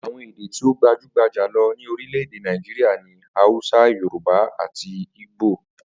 Àwo̩n èdè tí ó gbajúgbajà jùlo̩ ní orílè̩-èdè Naijiria ni Hausa, Yorùbá àti Igbo